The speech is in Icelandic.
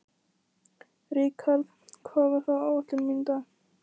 Rikharð, hvað er á áætluninni minni í dag?